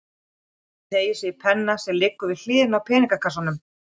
Hún teygir sig í penna sem liggur við hliðina á peningakassanum.